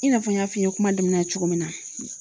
I n'a fɔ n y'a f'i ye kuma damina cogo min na